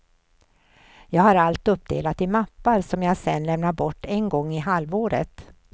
Jag har allt uppdelat i mappar som jag sen lämnar bort en gång i halvåret.